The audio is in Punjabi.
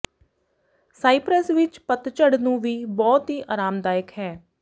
ਸਾਈਪ੍ਰਸ ਵਿੱਚ ਪਤਝੜ ਨੂੰ ਵੀ ਬਹੁਤ ਹੀ ਆਰਾਮਦਾਇਕ ਹੈ